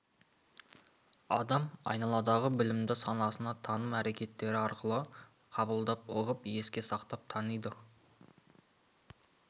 адам айналадағы білімді санасына таным әрекеттері арқылы қабылдап ұғып еске сақтап таниды